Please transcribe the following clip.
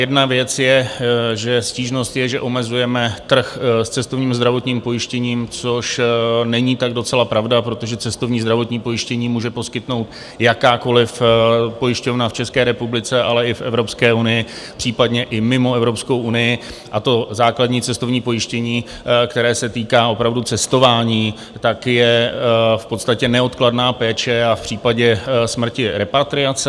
Jedna věc je, že stížnost je, že omezujeme trh s cestovním zdravotním pojištěním, což není tak docela pravda, protože cestovní zdravotní pojištění může poskytnout jakákoliv pojišťovna v České republice, ale i v Evropské unii, případně i mimo Evropskou unii, a to základní cestovní pojištění, které se týká opravdu cestování, tak je v podstatě neodkladná péče a v případě smrti repatriace.